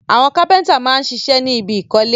Àwọn gbẹ́nàgbẹ́nà máa ń ṣiṣẹ́ ní ibi ìkọ́lé